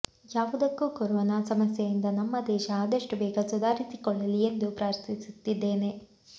ಯಾವುದಕ್ಕೂ ಕೊರೋನ ಸಮಸ್ಯೆಯಿಂದ ನಮ್ಮ ದೇಶ ಆದಷ್ಟು ಬೇಗ ಸುಧಾರಿಸಿಕೊಳ್ಳಲಿ ಎಂದು ಪ್ರಾರ್ಥಿಸುತ್ತಿದ್ದೇನೆ